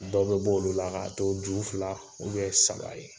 Dɔ be b'olu la k'a to ju fila u bɛn saba ye